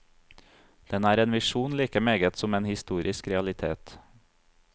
Den er en visjon like meget som en historisk realitet.